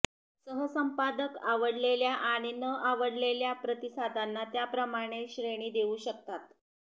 सहसंपादक आवडलेल्या आणि न आवडलेल्या प्रतिसादांना त्याप्रमाणे श्रेणी देऊ शकतात